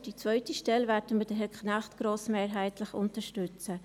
Für die zweite Stelle werden wir grossmehrheitlich Herrn Knecht unterstützen.